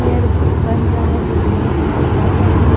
एक बन रहा हैजो लोहे का हैकाट मशीन।